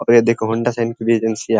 अब ये देखो हौंडा शाइन की भी एजेंसीया --